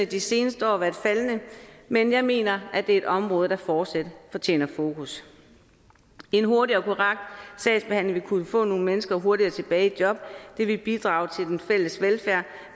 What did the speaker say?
de seneste år været faldende men jeg mener at det er et område der fortsat fortjener fokus en hurtig og korrekt sagsbehandling vil kunne få nogle mennesker hurtigere tilbage i job det vil bidrage til den fælles velfærd